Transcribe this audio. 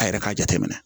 A yɛrɛ ka jateminɛ